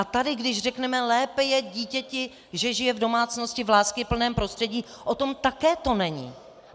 A tady když řekneme lépe je dítěti, že žije v domácnosti, v láskyplném prostředí, o tom také to není.